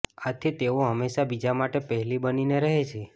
આથી તેઓ હંમેશા બીજા માટે પહેલી બનીને રહે છે